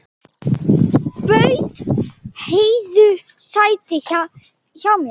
Bauð Heiðu sæti hjá mér.